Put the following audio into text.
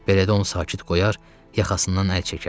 Belə də onu sakit qoyar, yaxasından əl çəkərdim.